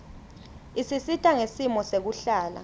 isisita ngesimo sekuhlala